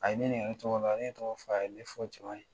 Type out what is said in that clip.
A ye ne ɲininka ne tɔgɔ la, ne ye n tɔgɔ f'a ye, a ye ne fɔ caman ye.